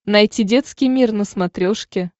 найти детский мир на смотрешке